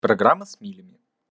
программа с милями